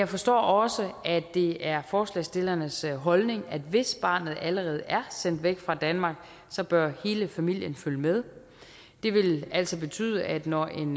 forstår også at det er forslagsstillernes holdning at hvis barnet allerede er sendt væk fra danmark bør hele familien følge med det vil altså betyde at når en